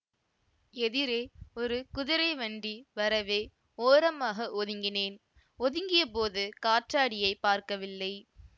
எதிரே ஒரு குதிரை வண்டி வரவே ஓரமாக ஒதுங்கினேன் ஒதுங்கியபோது காற்றாடியைப் பார்க்கவில்லை